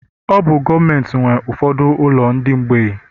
Ọ bụ gọọmentị nwe ụfọdụ ụlọ ndị mgbei